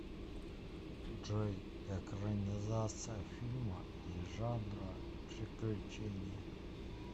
джой экранизация фильма и жанра приключения